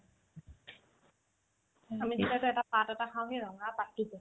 আমি কিবা যে এটা পাত এটা খাওগে ৰঙা পাতটো কি ?